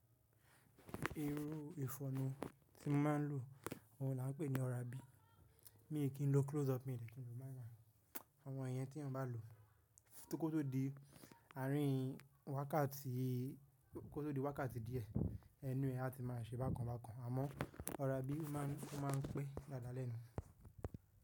Irú ìfọ̀nà tí n máa n lò, òhun là ń pè ní Oral B. Mi kí n lo close up mi dè, kí n lo máa ń lo àwọn iyẹn tí èyan bá lò. Kótó di wákàtí díẹ̀ ẹnu ẹ á ti máa ṣe bákan bákan, àmọ́ Oral B ó ma n pé dáadáa lẹ́nu.